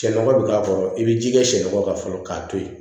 Sɛ nɔgɔ bɛ k'a kɔrɔ i bɛ ji kɛ sɛnɔgɔ kan fɔlɔ k'a to yen